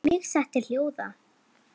Mig setti hljóða.